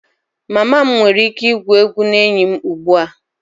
Mama m nwere ike igwu egwu na enyi m ugbu a?